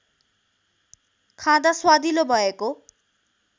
खाँदा स्वादिलो भएको